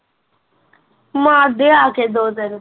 ਮਾਰਦੇ ਆ ਕੇ ਦੋ ਤਿੰਨ